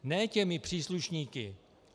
Ne těmi příslušníky.